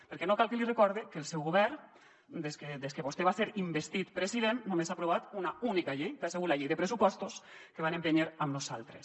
perquè no cal que li recorde que el seu govern des que vostè va ser investit president només ha aprovat una única llei que ha sigut la llei de pressupostos que van empènyer amb nosaltres